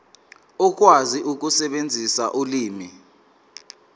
ukwazi ukusebenzisa ulimi